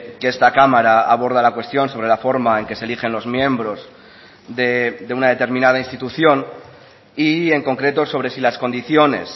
que esta cámara aborda la cuestión sobre la forma en que se eligen los miembros de una determinada institución y en concreto sobre si las condiciones